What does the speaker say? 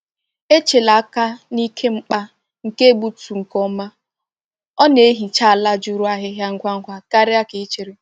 Echela aka n’ike mgba nke egbutu nke ọma — ọ na-ehicha ala juru ahịhịa ngwa ngwa karịa ka i chere.